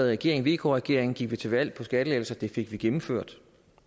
regering vk regeringen gik vi til valg på skattelettelser det fik vi gennemført